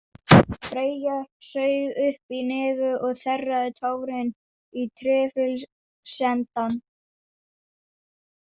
Freyja saug upp í nefið og þerraði tárin í trefilsendann.